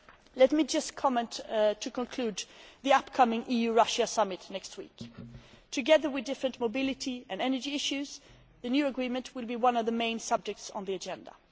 well. Let me just conclude with the upcoming EU Russia Summit next week. Together with different mobility and energy issues, the new agreement will be one of the main subjects on the